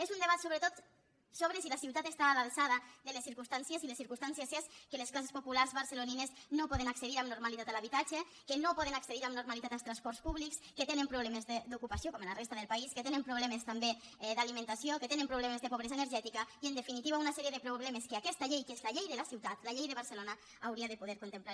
és un debat sobretot sobre si la ciutat està a l’altura de les circumstàncies i les circumstàncies són que les classes populars barcelonines no poden accedir amb normalitat a l’habitatge que no poden accedir amb normalitat als transports públics que tenen problemes d’ocupació com a la resta del país que tenen problemes també d’alimentació que tenen problemes de pobresa energètica i en definitiva una sèrie de problemes que aquesta llei que és la llei de la ciutat la llei de barcelona hauria de poder contemplar